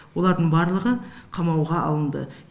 олардың барлығы қамауға алынды